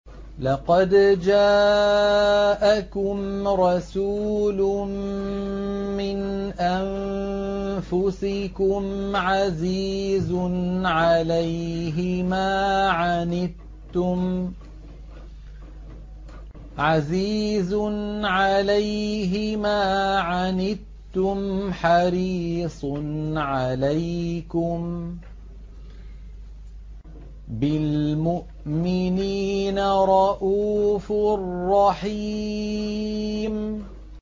لَقَدْ جَاءَكُمْ رَسُولٌ مِّنْ أَنفُسِكُمْ عَزِيزٌ عَلَيْهِ مَا عَنِتُّمْ حَرِيصٌ عَلَيْكُم بِالْمُؤْمِنِينَ رَءُوفٌ رَّحِيمٌ